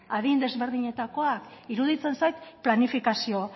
adin ezberdinetakoak iruditzen zait planifikazio